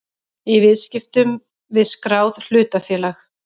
í viðskiptum við skráð hlutafélag.